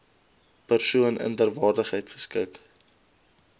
persoon inderwaarheid geskik